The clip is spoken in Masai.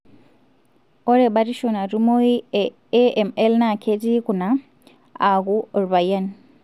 ore batisho natumoyu e AML na ketii kuna:aku olpayian.